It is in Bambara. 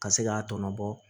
Ka se k'a tɔɔnɔ bɔ